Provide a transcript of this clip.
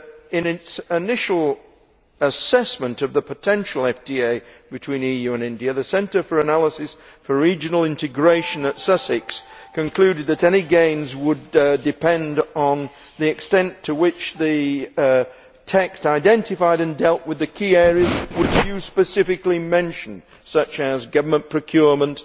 In its initial assessment of the potential FTA between the EU and India, the Centre for the Analysis of Regional Integration at Sussex concluded that any gains would depend on the extent to which the text identified and dealt with the key areas which the Commissioner specifically mentioned, such as government procurement,